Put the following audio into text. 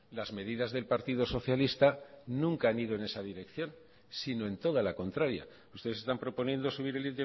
las medidas del partido socialista nunca han ido en esa dirección sino en toda la contraria ustedes están proponiendo subir el